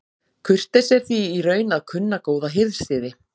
Kurteisi er því í raun að kunna góða hirðsiði.